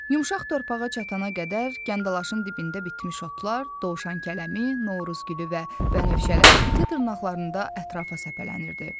Yumşaq torpağa çatana qədər kəndalaşın dibində bitmiş otlar, dovşankələmi, Novruzgülü və bənövşələr iti dırnaqlarında ətrafa səpələnirdi.